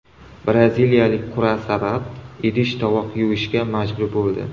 Braziliyalik qur’a sabab idish-tovoq yuvishga majbur bo‘ldi .